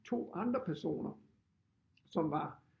2 andre personer som var